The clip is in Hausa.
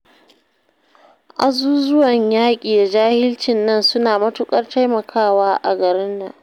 Azuzuwan yaƙi da jahilcin nan suna matuƙar taimakawa a garin nan